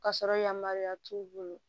K'a sɔrɔ yamaruya t'u bolo